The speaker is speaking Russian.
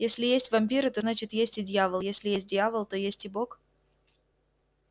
если есть вампиры то значит есть и дьявол если есть дьявол то есть и бог